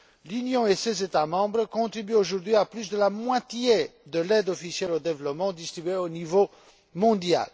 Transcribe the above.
L'Union et ses États membres contribuent aujourd'hui à plus de la moitié de l'aide officielle au développement distribuée au niveau mondial.